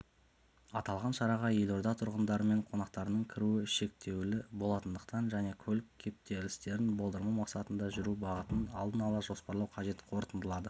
аталған шараға елорда тұрғындары мен қонақтарының кіруі шектеулі болатындықтан және көлік кептелістерін болдырмау мақсатында жүру бағытын алдын ала жоспарлау қажет қорытындылады